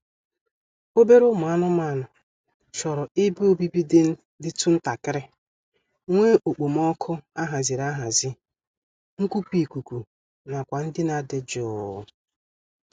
Obere ụmụ anụmaanụ chọrọ ebe obibi dịtụ ntakịrị, nwee okpomọọkụ a haziri ahazi, nkupu ikuku na akwa ndina dị jụụ